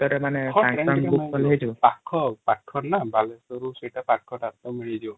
ପାଖନ ବାଲେଶ୍ଵର ସେଇଟା ପାଖନ ମିଳିଯିବା |